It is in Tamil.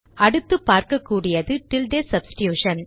அடுத்து பார்க்ககூடியது டில்டே சப்ஸ்டிடுஷன்